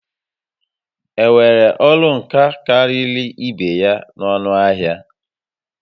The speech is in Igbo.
Enwere ọrụ nka karịrị ibé ya n'ọnụ ahịa?